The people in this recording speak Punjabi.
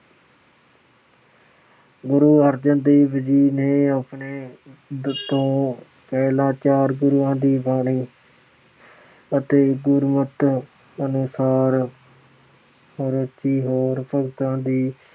ਗੁਰੂ ਅਰਜਨ ਦੇਵ ਜੀ ਨੇ ਆਪਣੇ ਤੋਂ ਪਹਿਲਾ ਚਾਰ ਗੁਰੂਆਂ ਦੀ ਬਾਣੀ ਅਤੇ ਗੁਰਮਤਿ ਅਨੁਸਾਰ ਰਚੀ ਹੋਰ ਭਗਤਾਂ ਦੀ